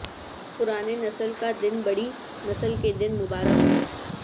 پرانے نسل کا دن بڑی نسل کے دن مبارک ہو